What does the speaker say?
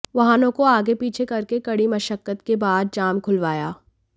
वाहनों को आगे पीछे करके कड़ी मशक्कत के बाद जाम खुलवाया